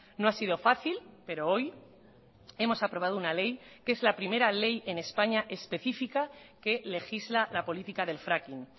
no ha sido fácil pero hoy hemos aprobado una ley que es la primera ley en españa específica que legisla la política del fracking